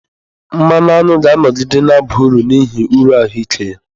Mmanụ aṅụ ga-anọgide na-aba uru n'ihi uru ahụike ya.